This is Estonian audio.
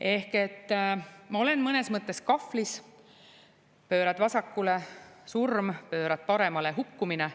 Ehk ma olen mõnes mõttes kahvlis: pöörad vasakule – surm, pöörad paremale – hukkumine.